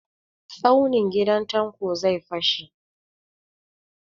Tsaunin gidan Tanko zai fashe.